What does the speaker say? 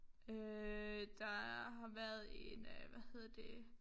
Øh der har været en øh hvad hedder det